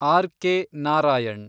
RK. Narayan